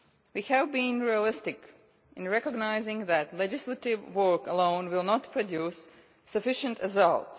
We have been realistic in recognising that legislative work alone will not produce sufficient results.